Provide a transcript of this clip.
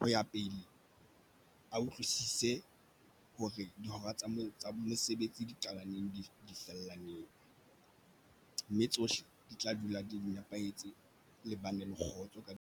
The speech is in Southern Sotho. Ho ya pele a utlwisise hore dihora tsa mo tsa mosebetsi di qala neng di fella neng, mme tsohle di tla dula di di nepahetse le bane le kgotso.